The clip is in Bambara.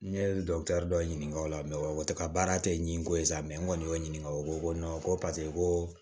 N ye dɔ ɲininka o la o tɛ ka baara tɛ ɲiko sa n kɔni y'o ɲininka o ko ko ko paseke ko